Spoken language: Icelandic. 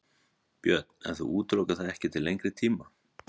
Björn: En þú útilokar það ekki til lengri tíma?